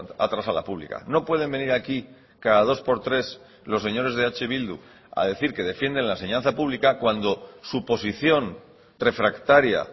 atrás a la pública no pueden venir aquí cada dos por tres los señores de eh bildu a decir que defienden la enseñanza pública cuando su posición refractaria